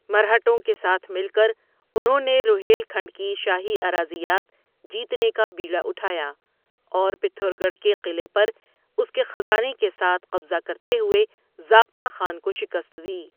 مرہٹوں کے ساتھ مل کر، انہوں نے روہیل کھنڈ کی شاہی اراضیات جیتنے کا بیڑا اٹھایا اور پتھر گڑھ کے قلعے پر اس کے خزانے کے ساتھ قبضہ کرتے ہوئے ضابطہ خان کو شکست دی۔